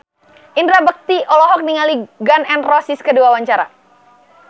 Indra Bekti olohok ningali Gun N Roses keur diwawancara